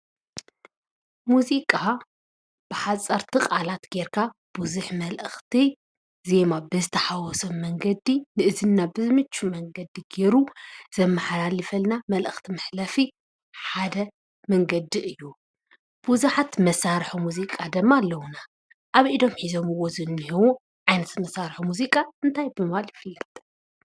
ሙዚቃ ብሓፀርቲ ቃላት ጌርካ ብዙሕ መልእክቲ ዜማ ብዝተሓወሶ መንገዲ ንእዝንና ብዝምቹ መንገዲ ገይሩ ዘመሓላልፈልና መልእኽቲ መሕለፊ ሓደ መንገዲ እዩ። ብዙሓት መሳርሒ ሙዚቃ ድማ ኣለዉና ።ኣብ ኢዶም ሕዞምዎ ዝነሄዉ ዓይነት ሙዚቃ እንታይ ብምባል ይፍለጥ ?